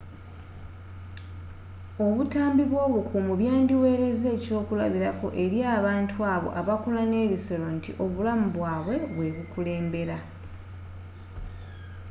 obutambi bw’obukuumi byandiwereza ekyokulabirako eri abantu abo abakola n’ebisolo nti obulamu bwabwe bwe bukulembera.